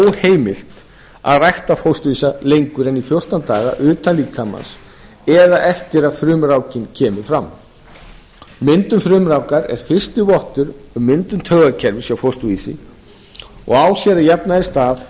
óheimilt að rækta fósturvísa lengur en í fjórtán daga utan líkamans eða eftir að frumrákin kemur fram myndun frumurákar er fyrsti vottur um myndun taugakerfis hjá fósturvísi og á sér að jafnaði stað á